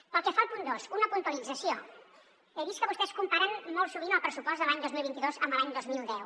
pel que fa al punt dos una puntualització he vist que vostès comparen molt sovint el pressupost de l’any dos mil vint dos amb l’any dos mil deu